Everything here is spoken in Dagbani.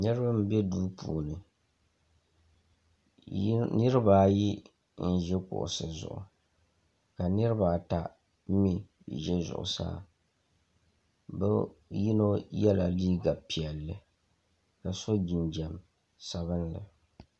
Niriba m be duu puuni niriba ayi n ʒi kuɣusi zuɣu ka niriba ata mee ʒɛ zuɣusaa bɛ yino yela liiga piɛlli ka so jinjiɛm sabinli.